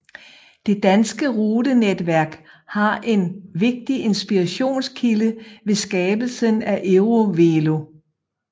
Det danske rutenetværk var en vigtig inspirationskilde ved skabelsen af EuroVelo